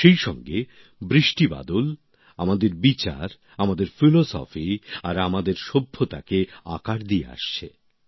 সেইসঙ্গে বৃষ্টিবাদল আমাদের বিচার আমাদের দর্শন আর আমাদের সভ্যতাকে আকার দিয়ে আসছে